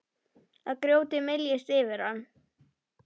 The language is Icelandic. Að grjótið myljist yfir hann.